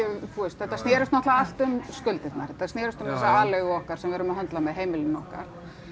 þetta snerist náttúrulega allt um skuldirnar þetta snerist um þessa aleigu okkar sem við erum að höndla með heimilin okkar